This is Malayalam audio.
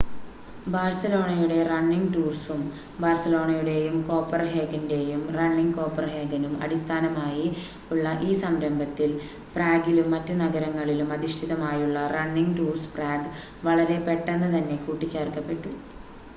ബാഴ്‌സലോണയുടെ റണ്ണിങ് ടൂർസും ബാഴ്‌സലോണയുടെയും കോപ്പൻഹേഗൻ്റെയും റണ്ണിങ് കോപ്പൻഹേഗനും അടിസ്ഥാനമായി ഉള്ള ഈ സംരംഭത്തിൽ പ്രാഗിലും മറ്റ് നഗരങ്ങളിലും അധിഷ്ഠിതമായുള്ള റണ്ണിങ് ടൂർസ് പ്രാഗ് വളരെ പെട്ടന്ന് തന്നെ കൂട്ടി ചേർക്കപ്പെട്ടു